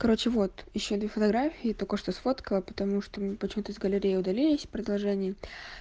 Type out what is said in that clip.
короче вот ещё две фотографии только что сфоткала потому что у меня почему-то из галереи удалились продолжение